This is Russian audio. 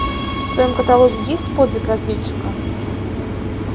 в твоем каталоге есть подвиг разведчика